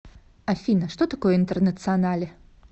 афина что такое интернационале